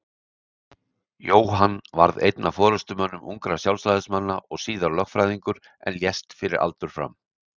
Jóhann varð einn af forystumönnum ungra Sjálfstæðismanna og síðar lögfræðingur en lést fyrir aldur fram.